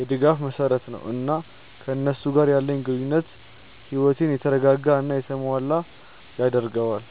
የድጋፍ መሰረት ነው፣ እና ከእነሱ ጋር ያለኝ ግንኙነት ሕይወቴን የተረጋጋ እና የተሞላ ያደርገዋል።